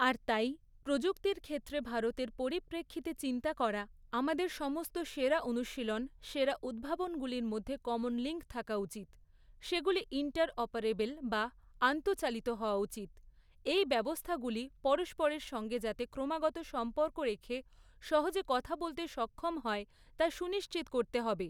আর তাই, প্রযুক্তির ক্ষেত্রে ভারতের পরিপ্রেক্ষিতে চিন্তা করা, আমাদের সমস্ত সেরা অনুশীলন, সেরা উদ্ভাবনগুলির মধ্যে কমন লিঙ্ক থাকা উচিত, সেগুলি ইন্টার অপারেবল বা আন্তঃচালিত হওয়া উচিত, এই ব্যবস্থাগুলি পরস্পরের সঙ্গে যাতে ক্রমাগত সম্পর্ক রেখে সহজে কথা বলতে সক্ষম হয়, তা সুনিশ্চিত করতে হবে।